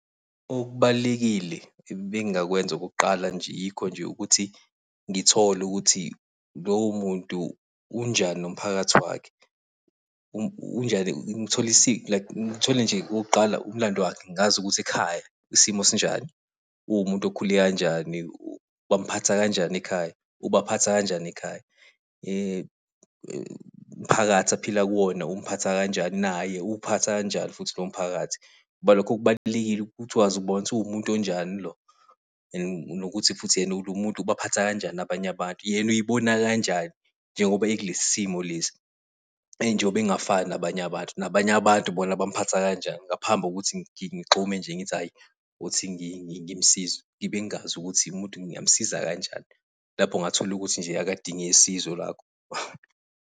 Okubalulekile ebengakwenza okokuqala nje, yikho nje ukuthi ngithole ukuthi lowo muntu unjani nomphakathi wakhe. Unjani like ngithole nje okokuqala umlando wakhe, ngazi ukuthi ekhaya isimo sinjani, uwumuntu okhule kanjani, bamuphatha kanjani ekhaya, ubaphatha kanjani ekhaya. Umphakathi aphila kuwona umphatha kanjani, naye uwuphatha kanjani futhi lowo mphakathi, ngoba lokho kubalulekile ukuthi ukwazi ukubona ukuthi uwumuntu onjani lo, nokuthi futhi lo muntu ubaphatha kanjani abanye abantu. Yena uy'bona kanjani njengoba ekulesi simo lesi. Njengoba engafani nabanye abantu, nabanye abantu bona bamuphatha kanjani, ngaphambi kokuthi ngigxume nje, ngithi hhayi othi ngimsize, ngibe ngingazi ukuthi umuntu ngingamusiza kanjani. Lapho ungatholukuthi nje akadinge sizo lwakho.